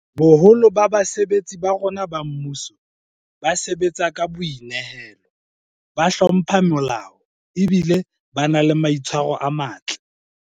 Boholo ba basebetsi ba rona ba mmuso ba sebatsa ka boi nehelo, ba hlompha molao ebile ba na le maitshwaro a matle.